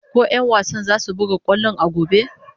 Ko 'yan wasan zasu buga kwallon a gobe?